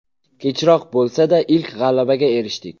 Kechroq bo‘lsa-da, ilk g‘alabaga erishdik.